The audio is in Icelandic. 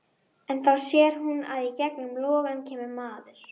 En þá sér hún að í gegnum logana kemur maður.